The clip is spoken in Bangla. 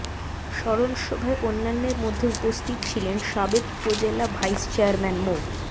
স্মরণ সভায় অন্যান্যের মধ্যে উপস্থিত ছিলেন সাবেক উপজেলা ভাইস চেয়ারম্যান মো